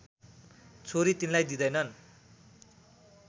छोरी तिनलाई दिँदैनन्